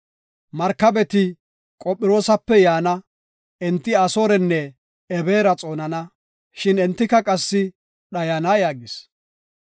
Markabeti Qophiroosape yaana; enti Asoorenne Ebeera xoonana; shin entika qassi dhayana” yaagis.